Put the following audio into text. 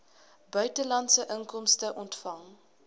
buitelandse inkomste ontvang